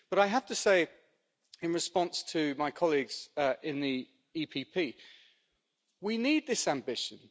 But I have to say, in response to my colleagues in the EPP, we need this ambition.